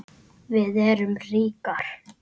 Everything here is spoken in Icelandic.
Við erum ríkar